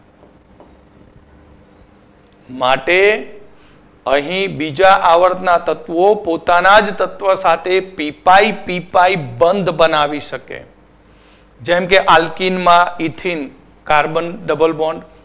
માટે અહી બીજા આવર્તના તત્વો પોતાના જ તત્વો સાથે પી પાઇ પી પાઇ બંધ બનાવી શકે જેમ કે alkaline માં Ethane Carbon double bond